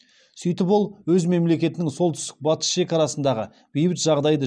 сөйтіп ол өз мемлекетінің солтүстік батыс шекарасындағы бейбіт жағдайды